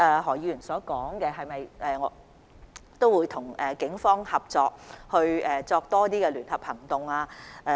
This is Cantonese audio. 何議員問及會否與警方合作進行更多聯合行動。